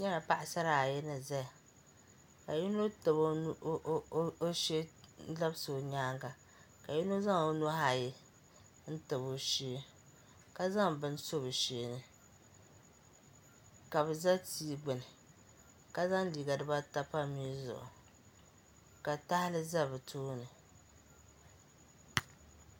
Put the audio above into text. N nyɛla Paɣsara ayi ni zaya ka yino tabi o shee labisi o nyaanga ka yino zaŋ o nuhi ayi n tabi o shee ka zaŋ bini so shee ni ka bɛ za tii gbuni ka zaŋ liiga dibata pa mii zuɣu ka tahali za bɛ tooni